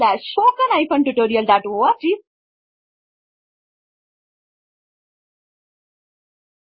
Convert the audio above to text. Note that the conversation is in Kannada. ಹೆಚ್ಚಿನ ಮಾಹಿತಿ ಈ ಕೆಳಕಂಡ ಲಿಂಕ್ ನಲ್ಲಿ ಲಭ್ಯವಿರುತ್ತದೆ